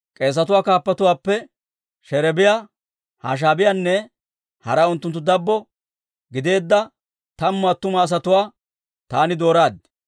K'eesetuwaa kaappatuwaappe Sherebiyaa, Hashaabiyaanne hara unttunttu dabbo gideedda tammu attuma asatuwaa taani dooraad.